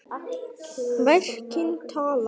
Verkin tala.